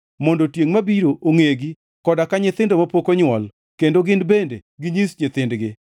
mondo tiengʼ mabiro ongʼegi, koda ka nyithindo mapok onywol, kendo gin bende ginyis nyithindgi.